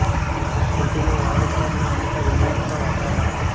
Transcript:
નાશપતીનો વાવેતર ના અંતર વિવિધ પર આધાર રાખે છે